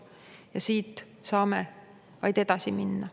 Ja siit saame vaid edasi minna.